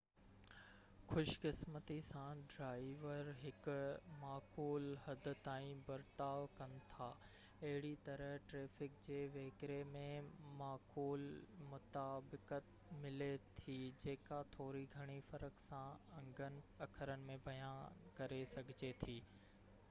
خُوش قِسمتي سان ڊِرائيور هڪ معقول حد تائين برتاءُ ڪن ٿا اهڙيء طرح ٽريفڪ جي وهڪري ۾ معقول مطابقت ملي ٿي جيڪا ٿوري گهڻي فرق سان انگن اکرن ۾ بيان ڪري سگهجي ٿي